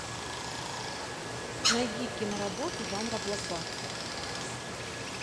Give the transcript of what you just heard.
найди киноработу жанра блокбастер